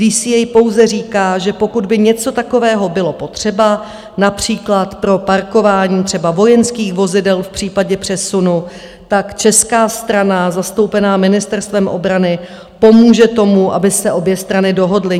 DCA pouze říká, že pokud by něco takového bylo potřeba, například pro parkování třeba vojenských vozidel v případě přesunu, tak česká strana zastoupená Ministerstvem obrany pomůže tomu, aby se obě strany dohodly.